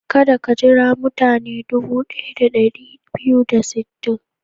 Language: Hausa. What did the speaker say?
Kada ka jira mutane dubu ɗaya da ɗari biyu da sittin.